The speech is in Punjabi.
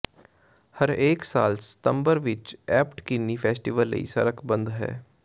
ਹਰੇਕ ਸਾਲ ਸਤੰਬਰ ਵਿਚ ਐਬਟ ਕਿਨੀ ਫੈਸਟੀਵਲ ਲਈ ਸੜਕ ਬੰਦ ਹੈ